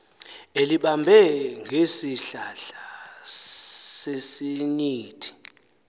elibambe ngesihlahla sesinyithi